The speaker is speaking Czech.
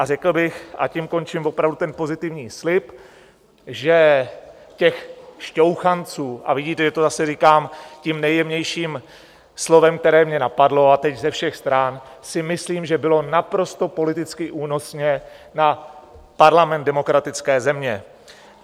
A řekl bych, a tím končím opravdu ten pozitivní slib, že těch šťouchanců, a vidíte, že to zase říkám tím nejjemnějším slovem, které mě napadlo, a teď ze všech stran, si myslím, že bylo naprosto politicky únosně na parlament demokratické země.